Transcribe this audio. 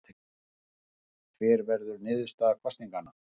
Hver verður niðurstaða kosninganna?